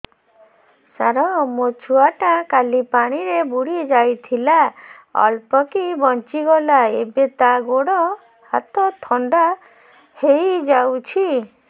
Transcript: ସାର ମୋ ଛୁଆ ଟା କାଲି ପାଣି ରେ ବୁଡି ଯାଇଥିଲା ଅଳ୍ପ କି ବଞ୍ଚି ଗଲା ଏବେ ତା ଗୋଡ଼ ହାତ ଥଣ୍ଡା ହେଇଯାଉଛି